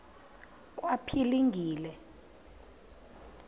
kwaphilingile